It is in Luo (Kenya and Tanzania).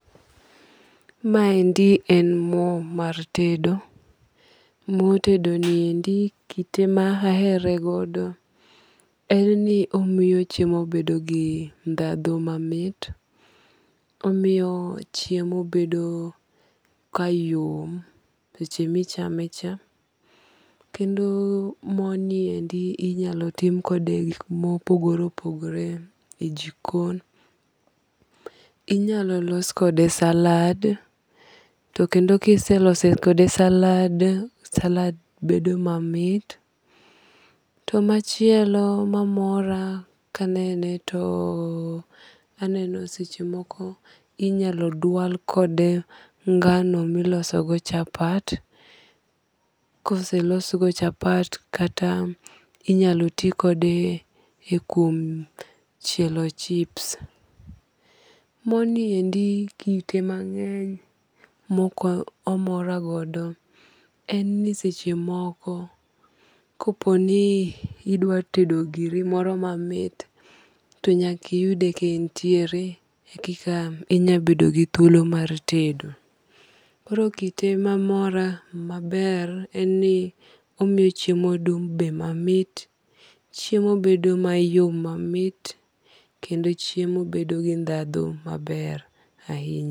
Ma endi en mo mar tedo. Mo tedo ni endi kite ma ahere godo en ni omiyo chiemo bedo gi dhadho mamit. Omiyo chiemo bedo ka yom seche michame cha. Kendo mo ni endi inyalo tim kode gik mopogore opogore e jikon. Inyalo los kode salad. To kendo kiseloso kode salad, salad bedo mamit. To machielo mamora kanene to aneno seche moko inyalo dwal kode ngano miloso go chapat. Koselos go chapat kata inyalo ti kode e kuom chielo chips. Mo ni endi kite mang'eny mok omora godo en ni seche moko kopo ni idwa tedo giri moro mamit to nyaka iyude ka entiere ekika inyalo bedo gi thuolo mar tedo. Koro kite mamora maber en ni omiyo chiemo dung' be mamit. Chiemo be dung' mayom mamit. Kendo chiemo bedo gi dhadho maber ahinya.